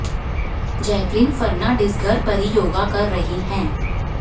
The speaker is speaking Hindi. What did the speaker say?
जैकलीन फर्नांडिस घर पर ही योगा कर रही हैं